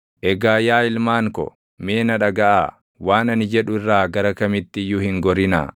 Egaa yaa ilmaan ko, mee na dhagaʼaa; waan ani jedhu irraa gara kamitti iyyuu hin gorinaa.